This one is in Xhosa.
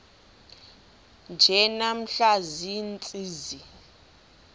nje namhla ziintsizi